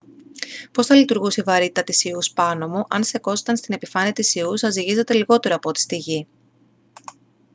πώς θα λειτουργούσε η βαρύτητα της ιούς πάνω μου; αν στεκόσασταν στην επιφάνεια της ιους θα ζυγίζατε λιγότερο από ό,τι στη γη